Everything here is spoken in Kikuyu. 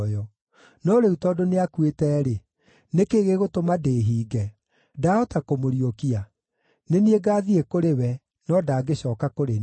No rĩu tondũ nĩakuĩte-rĩ, nĩ kĩĩ gĩgũtũma ndĩĩhinge? Ndaahota kũmũriũkia? Nĩ niĩ ngaathiĩ kũrĩ we, no ndangĩcooka kũrĩ niĩ.”